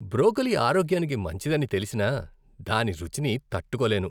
Broccoli ఆరోగ్యానికి మంచిదని తెలిసినా దాని రుచిని తట్టుకోలేను.